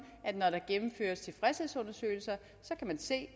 at når der gennemføres tilfredshedsundersøgelser kan man se